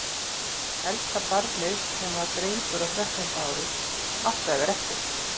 Elsta barnið, sem var drengur á þrettánda ári, átti að verða eftir.